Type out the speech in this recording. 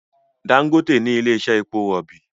Dangote ní ilè iṣe èpo robi